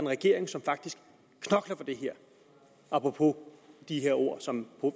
regering som faktisk knokler for det her apropos de her ord som